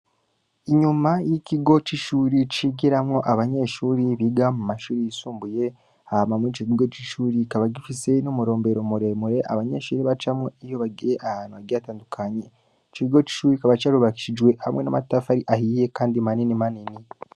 Inyuma y’ikigo c’ishuri, cigiramwo abanyeshuri biga mu mashuri yisumbuye, hama muri ico kigo c’ishuri, kikaba gifise n’umurombero muremure, abanyeshuri bacamwo iyo bagiye ahantu hagiye hatandukanye; ico kigo c’ishuri kikaba carubakishijwe hamwe n’amatafari ahiye kandi manini manini.